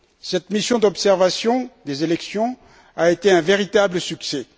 Cette mission d'observation des élections a été un véritable succès.